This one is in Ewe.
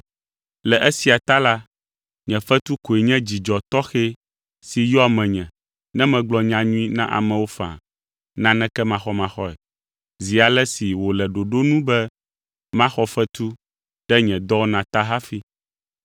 Le esia ta la, nye fetu koe nye dzidzɔ tɔxɛ si yɔa menye ne megblɔ nyanyui na amewo faa, naneke maxɔmaxɔe, zi ale si wòle ɖoɖo nu be maxɔ fetu ɖe nye dɔwɔna ta hafi.